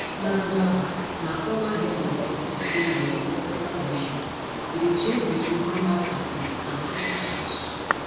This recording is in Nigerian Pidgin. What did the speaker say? nangaa na former head of dr congo electoral commission e dey change between combat fatigues and smart suits